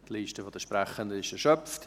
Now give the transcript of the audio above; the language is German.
Die Liste der Sprechenden ist erschöpft.